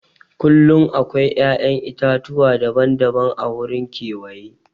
Kullum akwai ya'yan itatuwa daban-daban a wurin kewaye.